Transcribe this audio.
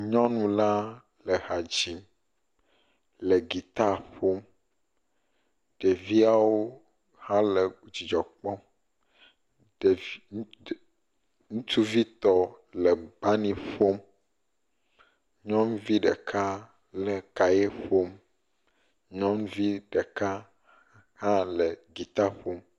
Nyɔnu la le hadzi, le gita ƒom, ɖeviawo hã le dzidzɔ kpɔm, ŋutuvi tɔ le bani ƒom, nyɔnuvi ɖeka le kaye ƒom, nyɔnuvi ɖeka hã le gita ƒom.